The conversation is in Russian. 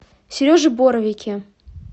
сереже боровике